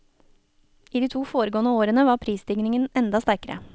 I de to foregående årene var prisstigningen enda sterkere.